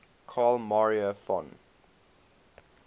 carl maria von